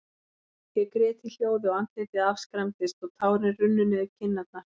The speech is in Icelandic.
Ég grét í hljóði, og andlitið afskræmdist, og tárin runnu niður kinnarnar.